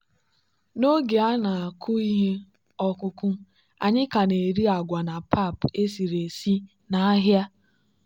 n'oge a na-akụ ihe ọkụkụ anyị ka na-ere agwa na pap esiri esi n'ahịa.